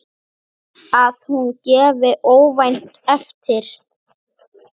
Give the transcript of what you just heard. Að hún gefi óvænt eftir.